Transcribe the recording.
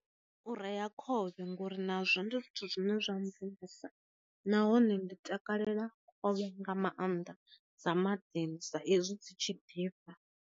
U rea khovhe ngori nazwo ndi zwithu zwine zwa mvumvusa, nahone ndi takalela khovhe nga maanḓa dza maḓini sa izwi dzi tshi ḓifha.